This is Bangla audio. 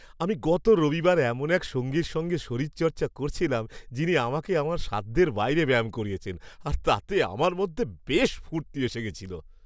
আমি গত রবিবার এমন এক সঙ্গীর সঙ্গে শরীরচর্চা করছিলাম যিনি আমাকে আমার সাধ্যের বাইরে ব্যায়াম করিয়েছেন আর তাতে আমার মধ্যে বেশ ফুর্তি এসে গেছিল।